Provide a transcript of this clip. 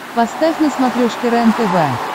поставь на смотрешке рентв